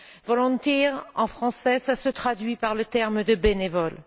Volunteer en français, cela se traduit par le terme de bénévole.